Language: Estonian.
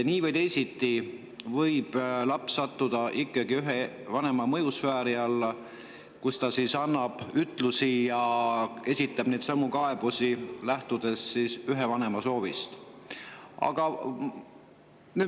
Nii või teisiti võib laps sattuda ühe vanema mõjusfääri alla, mille tõttu ta annab ütlusi ja esitab neidsamu kaebusi, lähtudes ühe vanema soovist.